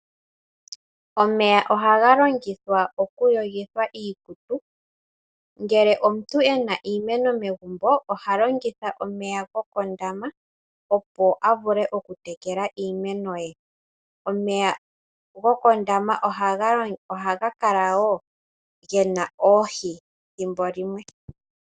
Omeya ohaga longithwa okuyogithwa iikutu. Ngele omuntu e na iimeno megumbo oha longitha omeya gokondama, opo a vule okutekela iimeno ye. Omeya gokondama ohaga kala wo ge na oohi thimbo limwe.